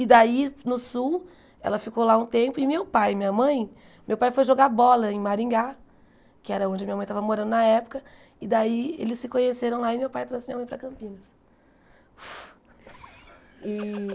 E daí, no sul, ela ficou lá um tempo e meu pai e minha mãe, meu pai foi jogar bola em Maringá, que era onde minha mãe tava morando na época, e daí eles se conheceram lá e meu pai trouxe minha mãe para Campinas.